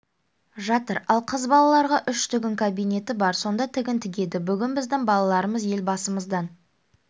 жатыр ал қыз балаларға үш тігін кабинеті бар сонда тігін тігеді бүгін біздің балаларымыз елбасымыздан